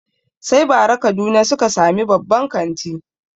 Sai bara kaduna suka sami babban kanti